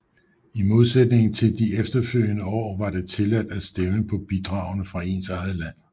I modsætning til de efterfølgende år var det tilladt at stemme på bidragene fra ens eget land